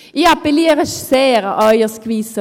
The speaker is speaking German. Ich appelliere sehr an Ihr Gewissen.